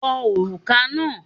Wọ òrùka náà!